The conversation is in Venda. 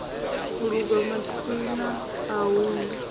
lungwa mathina a hu na